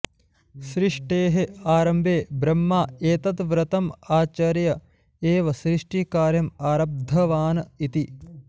सृष्टेः आरम्भे ब्रह्मा एतत् व्रतम् आचर्य एव सृष्टिकार्यम् आरब्धवान् इति